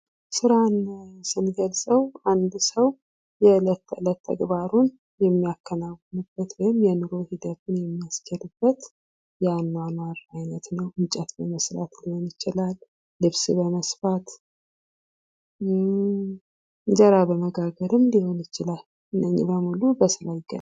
ሥራን ስንገልጸው 1 ሰው የዕለት ተዕለት ተግባሩን የሚያከናውንበት ውይም የኑሮ ሂደቱን የሚያስኬድበት የአኗኗር ዓይነት ነው እንጨት በመስበር ሊሆን ይችላል፣ ልብስ በመስፋት፣ እንጀራ በመጋገርም ሊሆን ይችላል እነዚህ በሙሉ በስራ ይገለጻሉ።